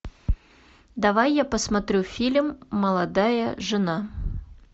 давай я посмотрю фильм молодая жена